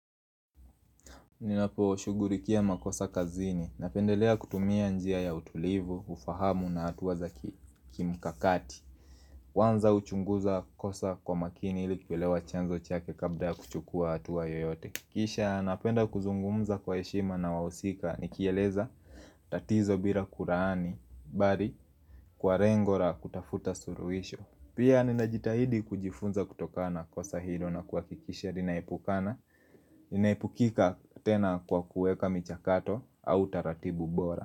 Ninaposhughulikia makosa kazini, napendelea kutumia njia ya utulivu, ufahamu na hatua za kimkakati kwanza huchunguza kosa kwa makini ili kuelewa chanzo chake kabla ya kuchukua hatua yoyote. Kisha napenda kuzungumza kwa heshima na wahusika, nikieleza tatizo bila kulaani, bali kwa lengo la kutafuta suluhisho. Pia ninajitahidi kujifunza kutokana na kosa hilo na kuhakikisha ninaepukana linaepukika tena kwa kuweka michakato au taratibu bora.